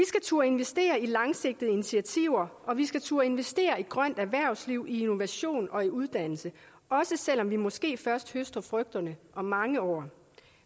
turde investere i langsigtede initiativer og vi skal turde investere i grønt erhvervsliv i innovation og i uddannelse også selv om vi måske først høster frugterne om mange år